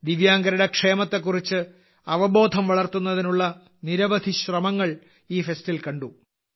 ദിവ്യാംഗരുടെ ക്ഷേമത്തെക്കുറിച്ച് അവബോധം വളർത്തുന്നതിനുള്ള നിരവധി ശ്രമങ്ങൾ ഈ ഫെസ്റ്റിൽ കണ്ടു